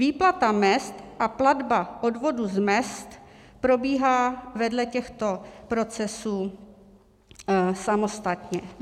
Výplata mezd a platba odvodů z mezd probíhá vedle těchto procesů samostatně.